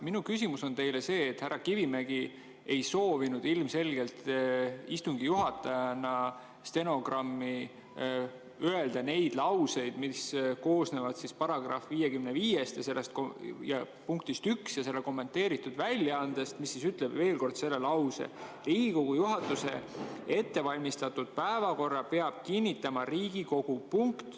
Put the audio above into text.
Minu küsimus on teile see, et härra Kivimägi ei soovinud ilmselgelt istungi juhatajana stenogrammi öelda neid lauseid, mis on § 55 punktis 1 ja kommenteeritud väljaandes: "Riigikogu juhatuse ettevalmistatud päevakorra peab kinnitama Riigikogu.